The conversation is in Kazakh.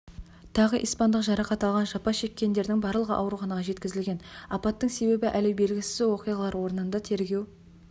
тағы испандық жарақат алған жапа шеккендердің барлығы ауруханаға жеткізілген апаттың себебі әлі белгісіз оқиға орнында тергеу